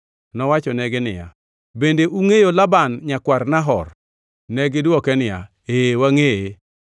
Nowachonegi niya, “Bende ungʼeyo Laban nyakwar Nahor?” Negidwoke niya, “Ee, wangʼeye.”